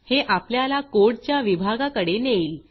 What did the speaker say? हे आपल्याला कोडच्या विभागाकडे नेईल